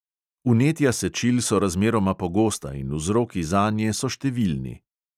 Vnetja sečil so razmeroma pogosta in vzroki zanje so številni.